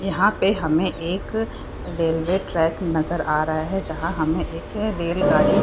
यहाँ पे हमे एक रेलवे ट्रैक नजर आ रहा है | जहाँ हमे एक रेलगाड़ी --